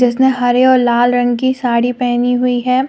उसने हर और लाल रंग की साड़ी पहनी हुई है।